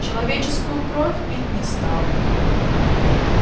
человеческую кровь пить не стал